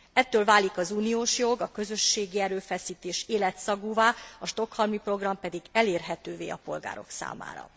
Ettől válik az uniós jog, a közösségi erőfeszítés életszagúvá, a Stockholmi Program pedig elérhetővé a polgárok számára.